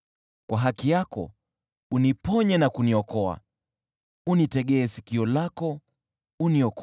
Kwa haki yako uniponye na kuniokoa, unitegee sikio lako uniokoe.